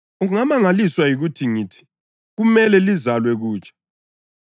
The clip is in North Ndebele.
Ungamangaliswa yikuthi ngithi, ‘Kumele lizalwe kutsha.’